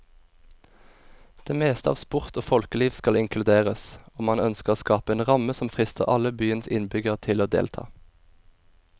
Det meste av sport og folkeliv skal inkluderes, og man ønsker å skape en ramme som frister alle byens innbyggere til å delta.